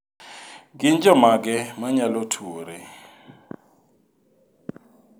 Gin jomage ma nyalo tuwore?